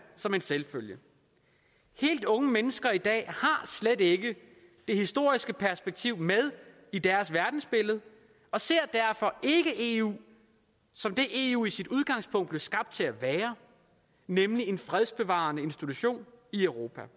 som en selvfølge helt unge mennesker i dag har slet ikke det historiske perspektiv med i deres verdensbillede og ser derfor ikke eu som det eu i sit udgangspunkt blev skabt til at være nemlig en fredsbevarende institution i europa